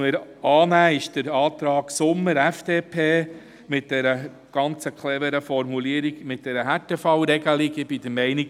Den Antrag Sommer/FDP mit der sehr cleveren Formulierung in Bezug auf die Härtefallregelung nehmen wir an.